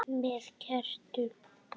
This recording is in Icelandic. Með kertum?